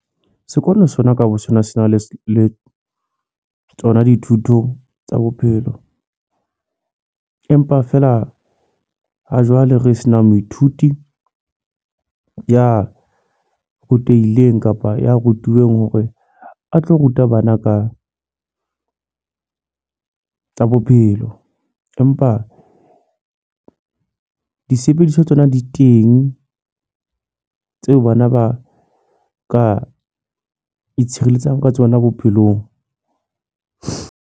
Sekolo sona ka bo sona sena le le tsona dithuto tsa bophelo. Empa feela ha jwale re se na moithuti ya rutehileng kapa ya rutuweng hore a tlo ruta bana ka tsa bophelo. Empa disebediswa tsona di teng, tseo bana ba ka itshireletsa ka tsona bophelong.